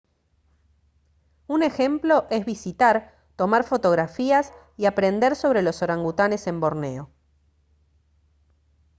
un ejemplo es visitar tomar fotografías y aprender sobre los orangutanes en borneo